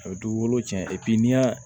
A bɛ du wolo cɛn n'i y'a